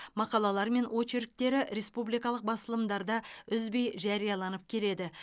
мақалалары мен очерктері республикалық басылымдарда үзбей жарияланып келеді